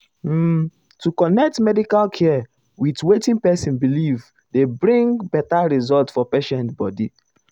um to connect medical care with wetin person believe dey bring better result for patient body.